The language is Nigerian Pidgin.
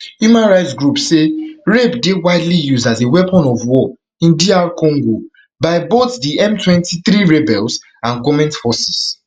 human rights groups say rape dey widely used as a weapon of war in dr congo by both di mtwenty-three rebels and goment forces